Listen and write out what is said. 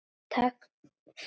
Takk fyrir hana Kollu.